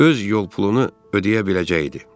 Öz yol pulunu ödəyə biləcəkdi.